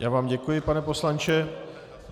Já vám děkuji, pane poslanče.